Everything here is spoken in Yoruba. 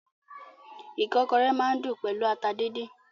Ìkọ́kọrẹ́ máa n dùn pẹlú ata díndín.